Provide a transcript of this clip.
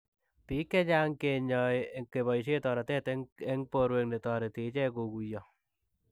Piik chechang kinyae kepaishee toretet eng porwek netoretii icheek koguiyoo